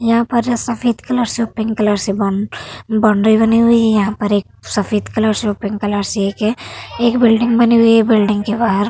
यहां पर जो सफेद कलर से और पिंक कलर से बोन बाउंड्री बनी हुई है। यहां पर एक सफेद कलर से और पिंक कलर से एक अ बिल्डिंग बनी हुई है। बिल्डिंग के बाहर --